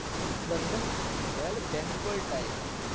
royal bengal tiger